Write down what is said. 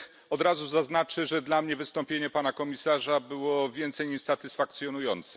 Od razu zaznaczę, że dla mnie wystąpienie pana komisarza było więcej niż satysfakcjonujące.